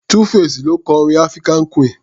2-face ló kọ orin African queen.